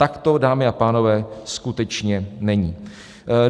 Tak to, dámy a pánové, skutečně není.